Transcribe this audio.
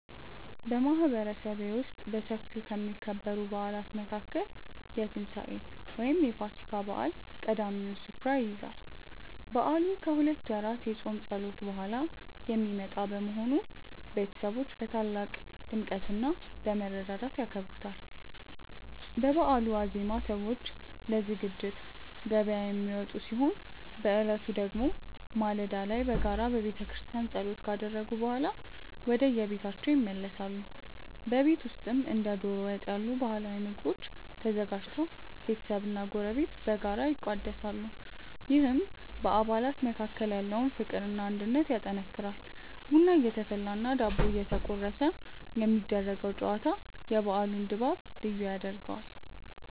በማህበረሰቤ ውስጥ በሰፊው ከሚከበሩ በዓላት መካከል የትንሳኤ (ፋሲካ) በዓል ቀዳሚውን ስፍራ ይይዛል። በዓሉ ከሁለት ወራት የጾም ጸሎት በኋላ የሚመጣ በመሆኑ፣ ቤተሰቦች በታላቅ ድምቀትና በመረዳዳት ያከብሩታል። በበዓሉ ዋዜማ ሰዎች ለዝግጅት ገበያ የሚወጡ ሲሆን፣ በዕለቱ ደግሞ ማለዳ ላይ በጋራ በቤተክርስቲያን ጸሎት ካደረጉ በኋላ ወደየቤታቸው ይመለሳሉ። በቤት ውስጥም እንደ ዶሮ ወጥ ያሉ ባህላዊ ምግቦች ተዘጋጅተው ቤተሰብና ጎረቤት በጋራ ይቋደሳሉ፤ ይህም በአባላት መካከል ያለውን ፍቅርና አንድነት ያጠናክራል። ቡና እየተፈላና ዳቦ እየተቆረሰ የሚደረገው ጨዋታ የበዓሉን ድባብ ልዩ ያደርገዋል።